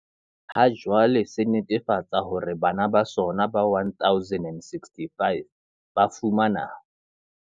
Ha jwale, se netefatsa hore bana ba sona ba 1 065 ba fumana.